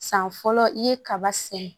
San fɔlɔ i ye kaba sɛnɛ